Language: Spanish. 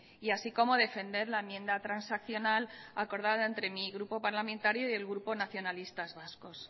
y así como defender la enmienda transaccional acordada entre mi grupo parlamentario y el grupo nacionalistas vascos